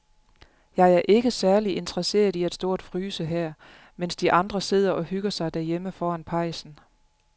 Jeg er ikke særlig interesseret i at stå og fryse her, mens de andre sidder og hygger sig derhjemme foran pejsen.